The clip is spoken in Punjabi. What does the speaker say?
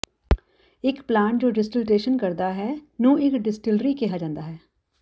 ਇੱਕ ਪਲਾਂਟ ਜੋ ਡਿਸਟਿਲਟੇਸ਼ਨ ਕਰਦਾ ਹੈ ਨੂੰ ਇੱਕ ਡਿਸਟਿਲਰੀ ਕਿਹਾ ਜਾਂਦਾ ਹੈ